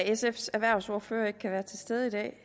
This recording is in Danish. sfs erhvervsordfører ikke kan være til stede i dag